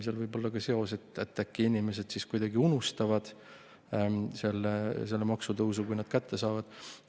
Seal võib olla ka seos, et äkki inimesed kuidagi unustavad selle maksutõusu, kui nad kätte saavad.